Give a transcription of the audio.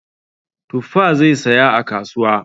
Tuffa zai saya a kasuwa.